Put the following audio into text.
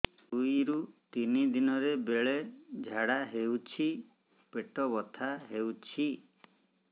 ଦୁଇରୁ ତିନି ଦିନରେ ବେଳେ ଝାଡ଼ା ହେଉଛି ପେଟ ବଥା ହେଉଛି